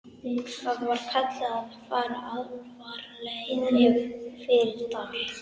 Þar var kallað að fara alfaraleið fyrir dal.